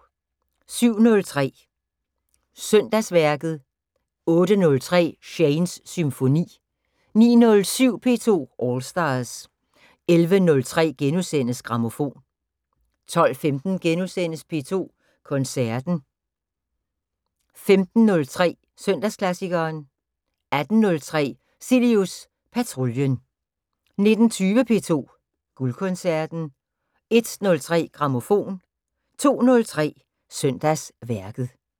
07:03: Søndagsværket 08:03: Shanes Symfoni 09:07: P2 All Stars 11:03: Grammofon * 12:15: P2 Koncerten * 15:03: Søndagsklassikeren 18:03: Cilius Patruljen 19:20: P2 Guldkoncerten 01:03: Grammofon 02:03: Søndagsværket